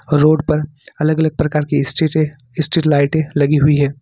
Road पर अलग अलग प्रकार की स्ट्रीट है स्ट्रीट लाइटें लगी हुई हैं।